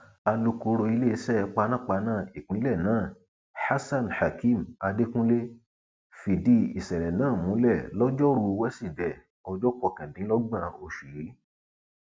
alūkọrọ iléeṣẹ panápaná ìpínlẹ náà hasanhakeem adekunle fìdí ìṣẹlẹ náà múlẹ lọjọrùú wísídẹẹ ọjọ kọkàndínlọgbọn oṣù yìí